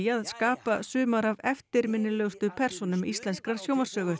að skapa sumar af eftirminnilegustu persónum íslenskrar